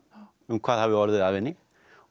um hvað hafi orðið af henni